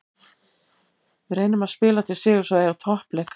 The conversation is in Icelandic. Við reynum að spila til sigurs og eiga toppleik.